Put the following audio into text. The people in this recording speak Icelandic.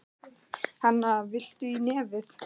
Hana, viltu í nefið?